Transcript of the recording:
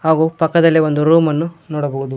ಹಾಗು ಪಕ್ಕದಲ್ಲಿ ಒಂದು ರೂಮ್ ಅನ್ನು ನೋಡಬಹುದು.